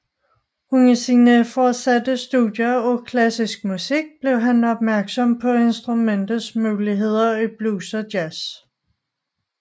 Under sine fortsatte studier af klassisk musik blev han opmærksom på instrumentets muligheder i blues og jazz